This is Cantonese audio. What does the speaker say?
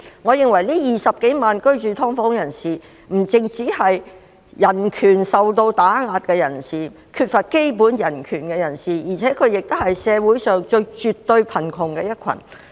我認為這20多萬名居住"劏房"的人士，不只是人權受到打壓、缺乏基本人權，而且也絕對是社會上最貧窮的一群。